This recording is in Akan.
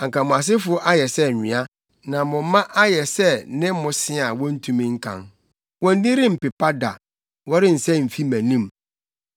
Anka mo asefo ayɛ sɛ nwea, na mo mma ayɛ sɛ ne mmosea a wontumi nkan; wɔn din rempepa da wɔrensɛe mfi mʼanim.”